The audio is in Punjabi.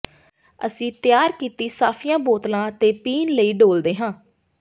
ਅਸੀਂ ਤਿਆਰ ਕੀਤੀ ਸਾਫੀਆਂ ਬੋਤਲਾਂ ਤੇ ਪੀਣ ਲਈ ਡੋਲ੍ਹਦੇ ਹਾਂ